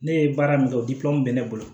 Ne ye baara min kɛ bɛ ne bolo